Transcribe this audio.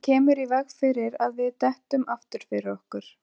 Hann kemur í veg fyrir að við dettum aftur fyrir okkur.